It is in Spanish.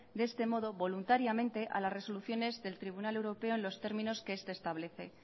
de este modo voluntariamente a las resoluciones del tribunal europeo en los términos que este establece